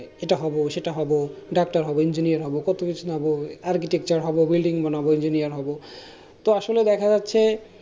এটা হবো সেটা হবো doctor হবো engineer হবো কত কিছু হবো architecture হবো building বানাবো engineer হবো তো আসলে দেখা যাচ্ছে